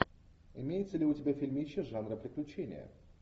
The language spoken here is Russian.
имеется ли у тебя фильмище жанра приключения